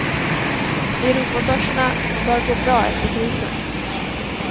Europabörserna bör gå bra efter krisen.